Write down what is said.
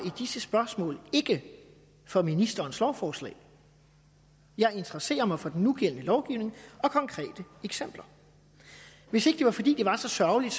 disse spørgsmål ikke for ministerens lovforslag jeg interesserer mig for den nugældende lovgivning og konkrete eksempler hvis ikke det var fordi det var så sørgeligt